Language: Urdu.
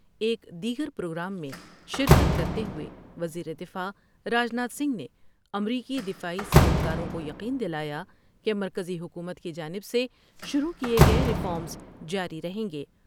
ایک دیگر پروگرام میں شرکت کرتے ہوئے وزیر دفاع راج ناتھ سنگھ نے امریکی دفاعی صنعت کاروں کو یقین دلا یا کہ مرکزی حکومت کی جانب سے شروع کئے گئے ریفارمس جاری رہیں گے ۔